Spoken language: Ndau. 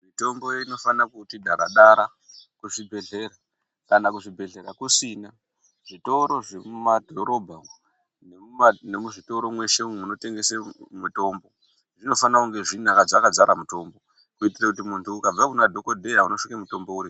Mitombo inofana kuti dara dara kuzvibhedhlera kana kuzvibhedhlera kusina zvitoro zvemadhorobha umwo nemuma nemuzvitoro mweshe umwo munotengese mutombo zvinofanirw kunge zvinedzkadzara mutombo kuitire kuti muntu ukabva kuna dhokodheya unosvike mutombo urimwo.